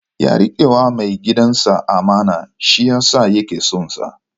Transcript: Ya riƙewa mai gidansa amana, shi yasa yake son sa.